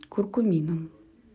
куркумином